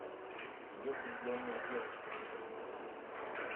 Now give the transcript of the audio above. две влюбленные девушки покажи